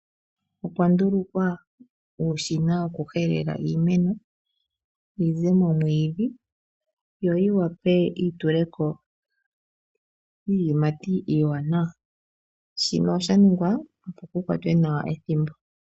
Opwa ndulukwa uushina wokuhelela iimeno yize momwiidhi yoyi vule yitule ko iiyimati iiwanawa. Shino osha ningwa opo kukwatwe nawa ethimbo.